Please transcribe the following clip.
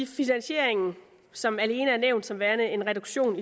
finansieringen som alene er nævnt som værende en reduktion